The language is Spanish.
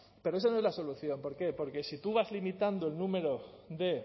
pero esa no es la solución por qué porque si tú vas limitando el número de